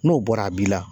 N'o bɔra a b'i la